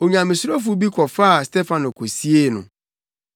Onyamesurofo bi kɔfaa Stefano kosiee no. Wosuu no yiye.